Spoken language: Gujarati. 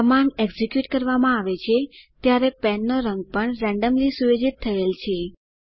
કમાન્ડ એકઝીક્યુટ કરવામાં આવે છે ત્યારે પેનનો રંગ પણ રેન્ડમલી સુયોજિત થયેલ છે